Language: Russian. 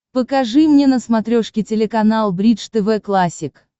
покажи мне на смотрешке телеканал бридж тв классик